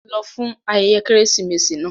Lọ fún ayẹyẹ Kérésìmesì náà!